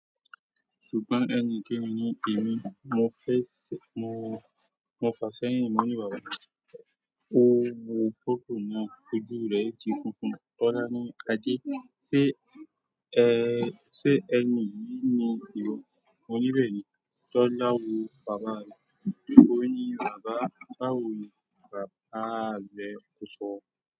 Ṣùgbọ́n ẹni kẹ́ ní ẹ̀mí. Mo fẹ̀, mo, mo fà ṣẹ́yin mo ní bàbá. Ó wo fọtó náà, ojú rẹ̀ ti funfun. Tọ́lá ní, Ade, ṣé, ẹ, ṣé ẹni yìí ni ìwọ? Moní bẹ̀ẹ̀ ni. Tọ́lá wo bàbá rẹ̀, ó ní, bàbá, báwo ni bàbá rẹ kò sọ.